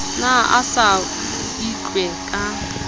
ne a sa itlwe ka